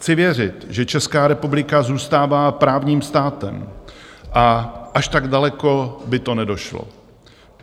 Chci věřit, že Česká republika zůstává právním státem a až tak daleko by to nedošlo.